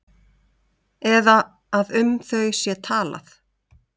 Eða að um þau sé talað?